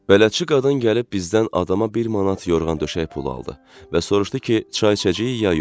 Bələdçi qadın gəlib bizdən adama bir manat yorğan-döşək pulu aldı və soruştu ki, çay içəcəyik ya yox.